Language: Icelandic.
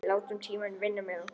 Látum tímann vinna með okkur.